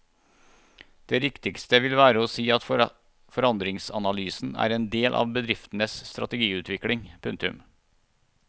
Det riktigste vil være å si at forandringsanalysen er en del av bedriftenes strategiutvikling. punktum